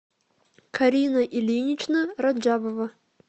карина ильинична раджабова